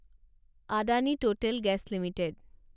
Adani Total gas limited